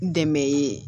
N dɛmɛ ye